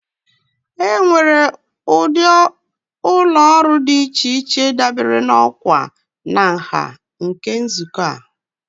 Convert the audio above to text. Enwere ụdị ụlọ ọrụ dị iche iche dabere na ọkwa na nha nke nzukọ a.